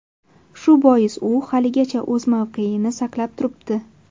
Shu bois u haligacha o‘z mavqeini saqlab turibdi.